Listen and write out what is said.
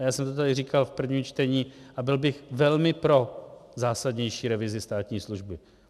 A já jsem to tady říkal v prvním čtení a byl bych velmi pro zásadnější revizi státní služby.